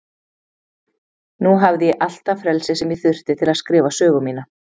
Nú hafði ég allt það frelsi sem ég þurfti til að skrifa sögu mína.